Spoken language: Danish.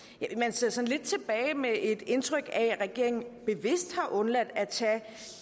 sådan lidt tilbage med et indtryk af at regeringen bevidst har undladt at tage